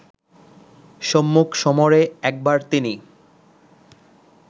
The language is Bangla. সম্মুখ সমরে একবার তিনি